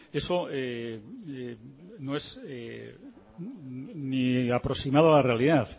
eso no es ni aproximado a la realidad